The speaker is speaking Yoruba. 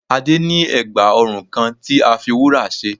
Adé ní ègbà ọrùn kan tí a fi wúrà ṣe